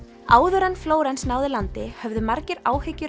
áður en Flórens náði landi höfðu margir áhyggjur